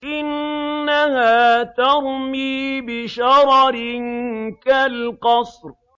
إِنَّهَا تَرْمِي بِشَرَرٍ كَالْقَصْرِ